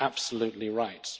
Absolutely right.